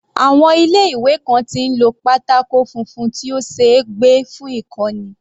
Àwọn ilé ìwé kan tí ń lo pátákó funfun tí ó ṣeé gbé fún ìkọ́ni.